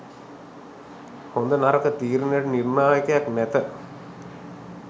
හොඳ නරක තීරණයට නිර්ණායකයක් නැත